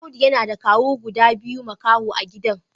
Audu yana da kawu guda biyu makaho a gidan.